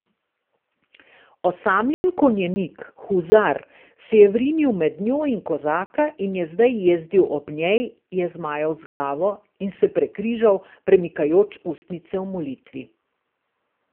Osamljen konjenik, huzar, ki se je vrinil med njo in kozaka in je zdaj jezdil ob njej, je zmajal z glavo in se prekrižal, premikajoč ustnice v molitvi.